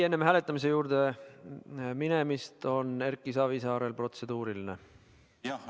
Enne hääletamise juurde minemist on Erki Savisaarel protseduuriline küsimus.